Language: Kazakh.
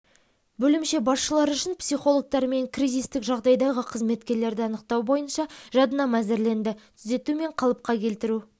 бөлімше басшылары үшін психологтармен кризистік жағдайдағы қызметкерлерді анықтау бойынша жадынама әзірленді түзету мен қалыпқа келтіру